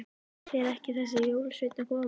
Fer ekki þessi jólasveinn að koma?